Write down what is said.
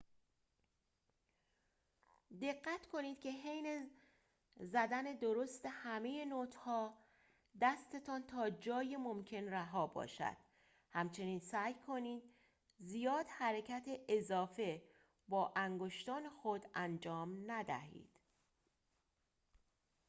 دقت کنید که حین زدن درست همه نوت‌ها دستتان تا جای ممکن رها باشد همچنین سعی کنید زیاد حرکت اضافه با انگشتان خود انجام ندهید